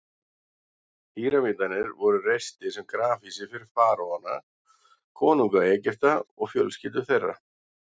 Píramídarnir voru reistir sem grafhýsi fyrir faraóana, konunga Egypta, og fjölskyldur þeirra.